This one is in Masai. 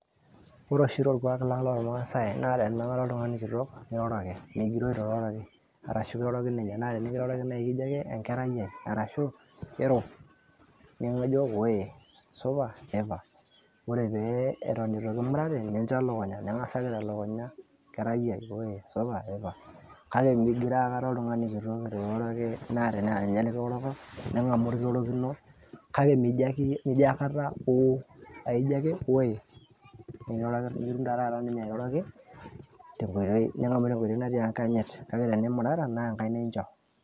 ore oshi torkualang' loo irmaasai naa tininang'are oltung'ani kitok niroroki migiroo aikata etu iroroki, naa tiniroroki naa ekijo ake enkerai ai ashu ero nijo ooye supa ipa , ore eton mimurata nicho elukunya ,kake migiroo aikata oltungani botor etu iroroki kake tinimurata naa enkaina incho.